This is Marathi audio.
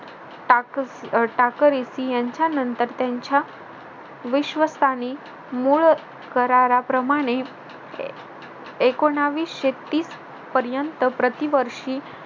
टाक अह टाकरइति यांच्यानंतर त्यांच्या विश्वासाने मूळ कराराप्रमाणे एकोणविशे तीस पर्यंत प्रतिवर्षी